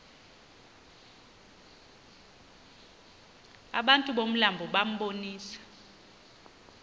abantu bomlambo bambonisa